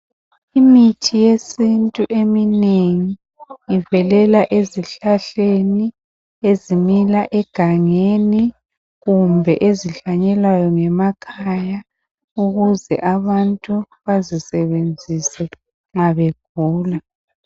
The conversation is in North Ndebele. Imithi yesintu eminengi ivelela ezihlahleni ezimila egangeni kumbe ezihlanyelwayo ngemakhaya ukuze abantu bazisebenzise nxa begula.